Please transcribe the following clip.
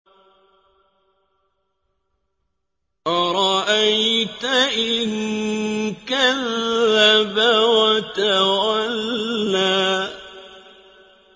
أَرَأَيْتَ إِن كَذَّبَ وَتَوَلَّىٰ